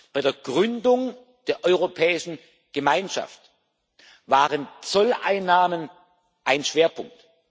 Bei der Gründung der Europäischen Gemeinschaft waren Zolleinnahmen ein Schwerpunkt.